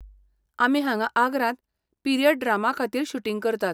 आमी हांगा आग्रांत पीरियड ड्रामा खातीर शूटिंग करतात.